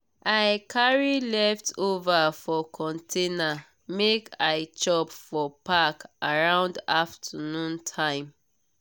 i carry leftover for container make i chop for park around afternoon time.